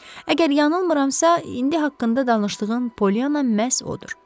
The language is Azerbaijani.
Əgər yanılmıramsa, indi haqqında danışdığın Pollyanna məhz odur.